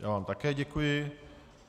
Já vám také děkuji.